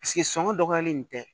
sɔngɔ dɔgɔyalen nin tɛ